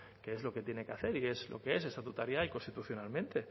que es lo que tiene que hacer y que es lo que es estatutaria y constitucionalmente